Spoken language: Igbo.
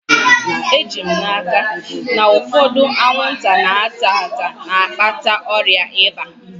Eji m n'aka, na ụfọdụ anwụnta na-ata ata na-akpata ọrịa ịba